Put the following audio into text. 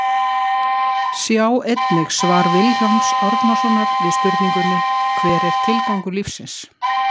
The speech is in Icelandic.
Sjá einnig svar Vilhjálms Árnasonar við spurningunni Hver er tilgangur lífsins?